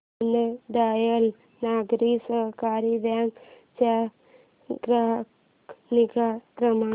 Deendayal Nagari Sahakari bank चा ग्राहक निगा क्रमांक